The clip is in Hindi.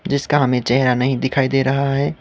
जिसका हमें चेहरा नहीं दिखाई दे रहा है।